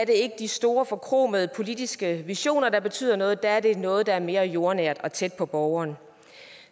ikke de store forkromede politiske visioner der betyder noget for der er det noget der er mere jordnært og tæt på borgeren